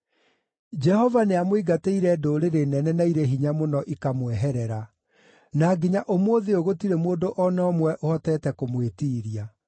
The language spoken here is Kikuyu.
“Jehova nĩamũingatĩire ndũrĩrĩ nene na irĩ hinya mũno ikamweherera; na nginya ũmũthĩ ũyũ gũtirĩ mũndũ o na ũmwe ũhotete kũmwĩtiiria.